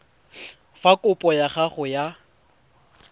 fa kopo ya gago ya